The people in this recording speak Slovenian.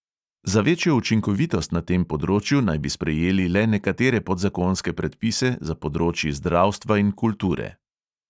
Za večjo učinkovitost na tem področju naj bi sprejeli le nekatere podzakonske predpise za področji zdravstva in kulture.